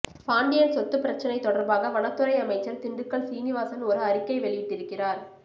பாண்டியன் சொத்து பிரச்சனை தொடர்பாக வனத்துறை அமைச்சர் திண்டுக்கல் சீனிவாசன் ஒரு அறிக்கை வெளியிட்டிருக்கிறார்